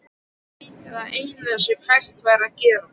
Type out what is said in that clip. Það er líka það eina sem hægt er að gera.